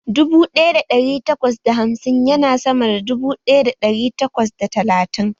Dubu ɗaya da ɗari takwas da hamsin ya na sama da dubu ɗaya da ɗari takwas da talatin